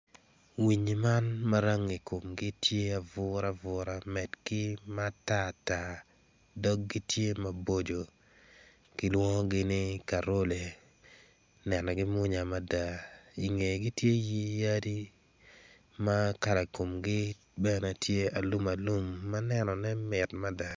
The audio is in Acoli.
Winyi man rangi komgi tye ma buruburu med ki ma tatata dogi tye ma boco ki lwongogi ni karole nenogi mwonya mada i ngegi tye yadi ma kala komgi tye ma alumalum.